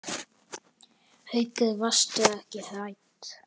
Haukur: Varstu hrædd?